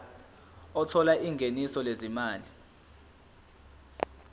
othola ingeniso lezimali